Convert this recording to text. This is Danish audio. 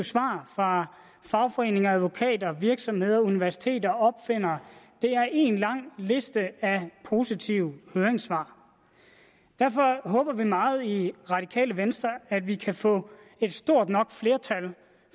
svar fra fagforeninger advokater virksomheder universiteter eller opfindere det er én lang liste af positive høringssvar derfor håber vi meget i radikale venstre at vi kan få et stort nok flertal